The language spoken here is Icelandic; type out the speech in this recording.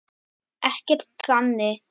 Ekkert þannig.